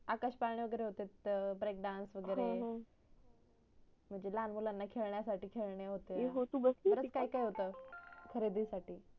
आकाश पाडणे होते तिथ break dans वगरे म्हणजे लहान मुला साठी खेडण्या साठी खेडणे होते बरच काही होत खरेदी साठी